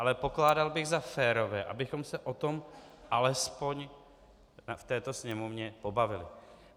Ale pokládal bych za férové, abychom se o tom alespoň v této sněmovně pobavili.